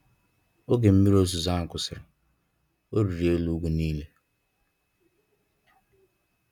Oge mmiri ozizo a kwụsịrị, Ọ rịrị elu ugwu nile.